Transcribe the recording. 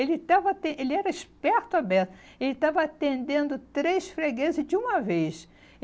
Ele estava aten ele era esperto à beça, ele estava atendendo três fregueses de uma vez.